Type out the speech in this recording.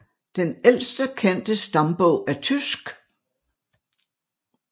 Den ældste kendte stambog er tysk